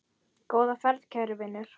Góða ferð, kæri vinur.